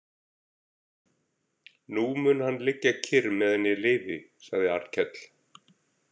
Nú mun hann liggja kyrr meðan ég lifi, sagði Arnkell.